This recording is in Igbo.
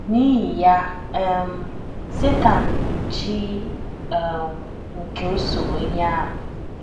N’ihi ya um, Setan bụ “ chi um nke usoro ihe a. ”